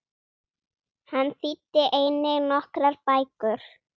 Hann þýddi einnig nokkrar bækur.